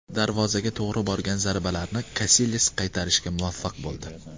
Darvozaga to‘g‘ri borgan zarbalarni Kasilyas qaytarishga muvaffaq bo‘ldi.